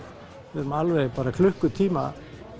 við erum alveg klukkutíma